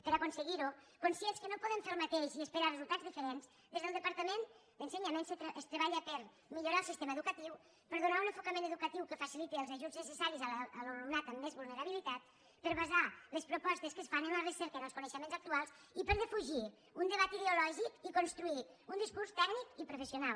per aconseguirho conscients que no podem fer el mateix i esperar resultats diferents des del departament d’ensenyament es treballa per millorar el sistema educatiu per donar un enfocament educatiu que faciliti els ajuts necessaris a l’alumnat amb més vulnerabilitat per basar les propostes que es fan en la recerca i en els coneixements actuals i per defugir un debat ideològic i construir un discurs tècnic i professional